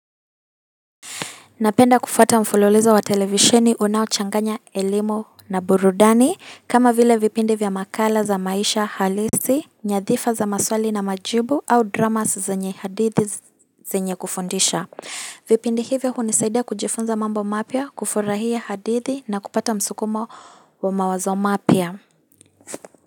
Napenda kufuata mfulilizo wa televisheni unaochanganya elimu na burudani kama vile vipindi vya makala za maisha halisi, nyadhifa za maswali na majibu au dramas zenye hadithi zenye kufundisha vipindi hivyo hunisaidia kujifunza mambo mapya, kufurahia hadithi na kupata msukumo wa mawazo mapya.